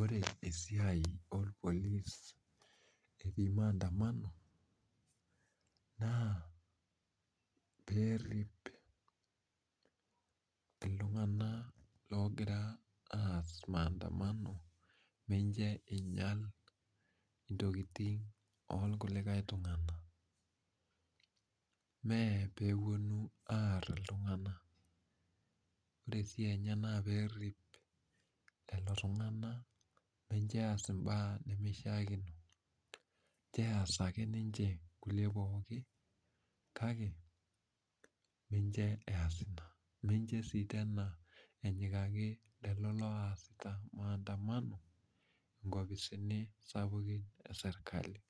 Ore esiai olpolis, etii maandamano naa peerip iltung'ana ogira aas maandamano, menche einyal intokitin olkulie tung'ana, mee peepuonu aar iltung'ana. Ore esiai enye naa peerip lelo tung'ana mincho eas imbaa nemeishaakino, injo eas ake ninche kulie pookin kake mincho eas ina, mincho sii tena enyikaki lelo oasita ,maandamano inkopisini sapukin e serkali.